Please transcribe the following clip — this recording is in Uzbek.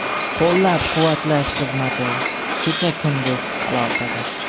Qo‘llab-quvvatlash xizmati kecha-kunduz aloqada.